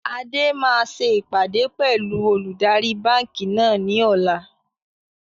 Adé máa ṣe ìpàdé pẹlu olùdarí báńkì náà ni ọ̀la